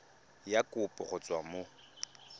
ya kopo go tswa mo